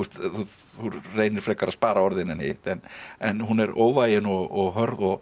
þú reynir frekar að spara orðin en hitt en en hún er óvægin og hörð og